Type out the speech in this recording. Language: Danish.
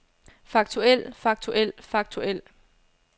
faktuel faktuel faktuel